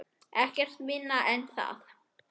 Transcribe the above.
Ekkert minna en það!